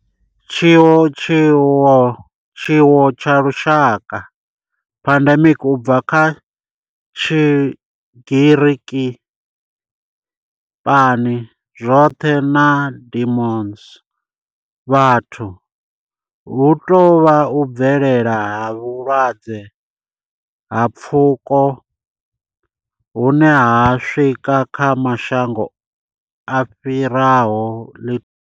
Tshiwo tsha lushaka pandemic, u bva kha Tshigiriki pan, zwoṱhe na demos, vhathu hu tou vha u bvelela ha vhulwadze ha pfuko hune ho swika kha mashango a fhiraho ḽi.